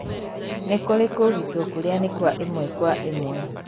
nĩ kũrĩ kũũgitwo kũrĩa nĩ kwa ĩmwe kwa ĩmwe.